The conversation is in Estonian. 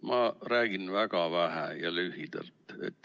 Ma räägin väga vähe ja lühidalt.